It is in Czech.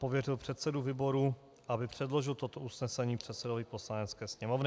pověřil předsedu výboru, aby předložil toto usnesení předsedovi Poslanecké sněmovny.